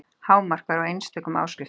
Hámark var á einstökum áskriftum.